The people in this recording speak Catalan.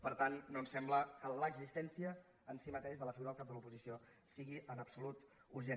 per tant no ens sembla que l’existència en si mateixa de la figura del cap de l’oposició sigui en absolut urgent